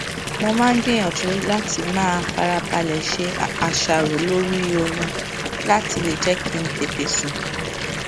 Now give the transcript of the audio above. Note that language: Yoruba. mo máa ń gbìyànjú láti máa farabalẹ ṣe àṣàrò lórí oorun láti lè jẹ kí n tètè sùn